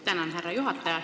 Tänan, härra juhataja!